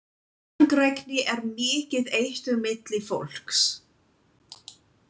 Langrækni er mikið eitur milli fólks.